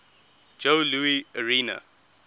joe louis arena